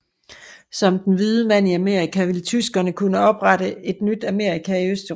Som den hvide mand i Amerika ville tyskerne kunne oprette et nyt Amerika i Østeuropa